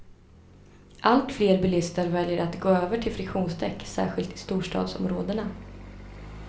Allt fler bilister väljer att gå över till friktionsdäck, särskilt i storstadsområdena.